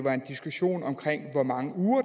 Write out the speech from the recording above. er en diskussion om hvor mange uger